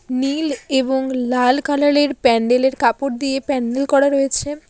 নীল এবং লাল কালালের -এর প্যান্ডেল -এর কাপড় দিয়ে প্যান্ডেল করা রয়েছে।